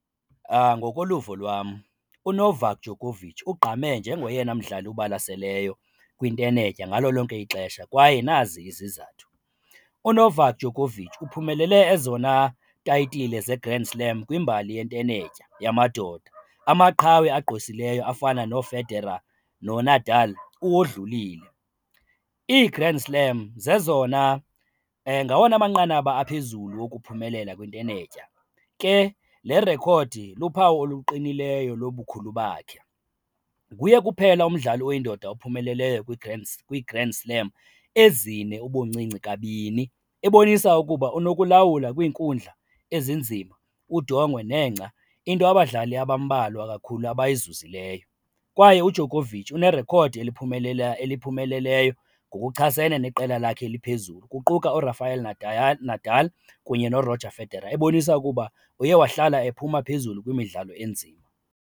Ngoko luvo lwam, uNovak Djokovic ugqame njengoyena mdlali ubalaseleyo kwintenetya ngalo lonke ixesha kwaye nazi izizathu. UNovak Djokovic uphumelele ezona titile zeGrand Slam kwimbali yentenetya yamadoda, amaqhawe agqwesileyo afana nooFederal noNadal uwodlulile. IiGrand Slam zezona ngawona manqanaba aphezulu wokuphumelela kwintenetya, ke le rekhodi luphawu oluqinileyo lobukhulu bakhe. Nguye kuphela umdlali oyindoda ophumeleleyo kwiGrand Slam ezine ubuncinci kabini, ebonisa ukuba unokulawula kwiinkundla ezinzima, udongwe nengca, into abadlali abambalwa kakhulu abayizuzileyo. Kwaye iDjokovic unerekhodi eliphumelela eliphumeleleyo ngokuchasene neqela lakhe eliphezulu kuquka uRafael Nadal kunye noRoger Federer ebonisa ukuba uyewahlala ephuma phezulu kwimidlalo enzima.